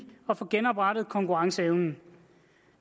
og få genoprettet konkurrenceevnen